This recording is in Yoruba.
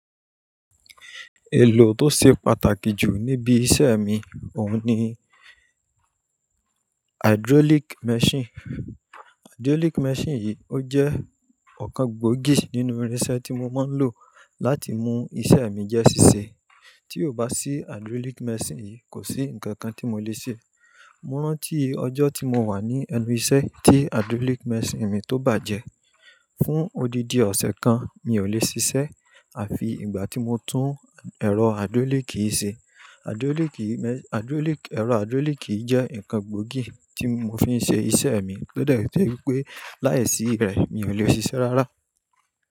Èlò tó ṣe pàtàkì jù níbi iṣẹ́ mi, òun ni hydraulic machine. Hydraulic machine yìí, ó jẹ́ ọ̀kan gbòógì nínú irinṣẹ́ tí mo máa ń lò láti mú iṣẹ́ mi jẹ́ ṣíṣe. Tí ò bá sí hydraulic machine yìí, kò sí nǹkan kan tí mo lè ṣe. Mo rántí ọjọ́ tí mo wà ní ẹnu iṣẹ́ tí hydraulic machine mi tó bàjẹ́. Fún odidi ọ̀sẹ̀ kan, mi ò lè ṣiṣẹ́ àfi ìgbà tí mo tún ẹ̀rọ hydraulic yìí ṣe. Ẹ̀rọ hydraulic yìí jẹ́ nǹkan gbòógì tí mo fi ń ṣe iṣẹ́ mi, ó dẹ̀ jẹ́ wípé láìsí rẹ̀, mi ò lè ṣiṣẹ́ rárá.